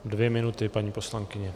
Dvě minuty, paní poslankyně.